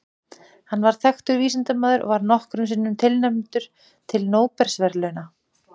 Hann var þekktur vísindamaður og var nokkrum sinnum tilnefndur til Nóbelsverðlauna.